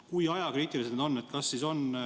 Kui ajakriitilised need on?